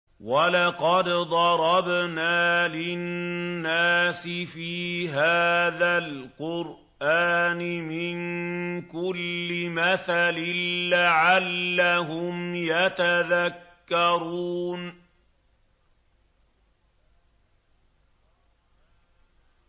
وَلَقَدْ ضَرَبْنَا لِلنَّاسِ فِي هَٰذَا الْقُرْآنِ مِن كُلِّ مَثَلٍ لَّعَلَّهُمْ يَتَذَكَّرُونَ